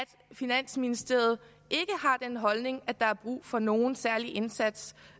finansministeriet ikke har den holdning at der er brug for nogen særlig indsats